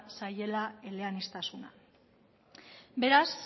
zaiela eleaniztasuna beraz